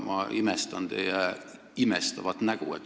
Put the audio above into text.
Ma imestan teie imestavat nägu.